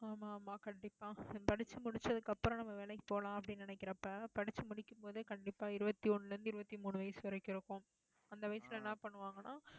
ஆமா~ஆமா, ஆமா கண்டிப்பா படிச்சு முடிச்சதுக்கு அப்புறம் நம்ம வேலைக்கு போலாம் அப்படின்னு நினைக்கிறப்ப, படிச்சு முடிக்கும் போதே கண்டிப்பா இருபத்தி ஒண்ணுல இருந்து இருபத்தி மூணு வயசு வரைக்கும் இருக்கும். அந்த வயசுல என்ன பண்ணுவாங்கன்னா